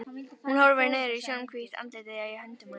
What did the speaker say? Hún horfir niður í snjóhvítt andlitið í höndum hans.